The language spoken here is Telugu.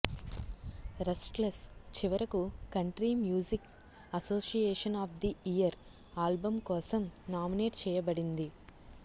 రెస్ట్లెస్ చివరకు country music association of the year album కోసం నామినేట్ చేయబడింది